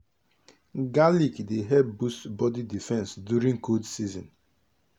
garlic dey help boost body defense during cold season.